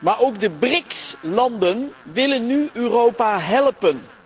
Maar ook de BRICS landen willen nu Europa helpen.